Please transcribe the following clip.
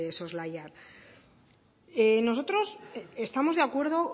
soslayar nosotros estamos de acuerdo